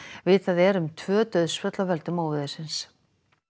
vitað er um tvö dauðsföll af völdum óveðursins